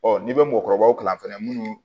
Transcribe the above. n'i bɛ mɔgɔkɔrɔbaw kalan fɛnɛ munnu